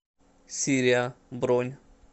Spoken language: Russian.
сириа бронь